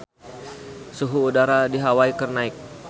Suhu udara di Hawai keur naek